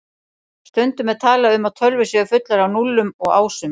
Stundum er talað um að tölvur séu fullar af núllum og ásum.